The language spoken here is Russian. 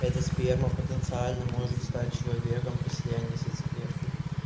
это сперма потенциально может стать человеком при слиянии с яйцеклеткой